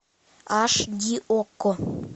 аш ди окко